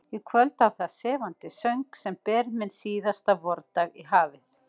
Í kvöld á það sefandi söng, sem ber minn síðasta vordag í hafið.